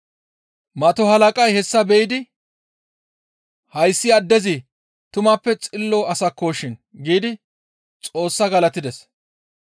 Mato halaqay hessa be7idi, «Hayssi addezi tumappe xillo asakkoshin» giidi Xoossaa galatides.